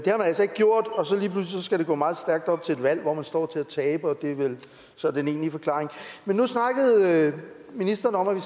altså ikke gjort og så lige pludselig skal det gå meget stærkt op til et valg hvor man står til at tabe og det er vel så den egentlige forklaring men nu snakkede ministeren om at vi